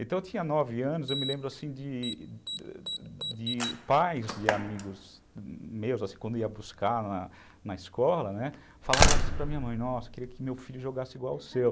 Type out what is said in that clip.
Então, eu tinha nove anos, eu me lembro de pais de amigos meus, quando ia buscar na escola, falavam assim para a minha mãe, nossa, eu queria que meu filho jogasse igual o seu.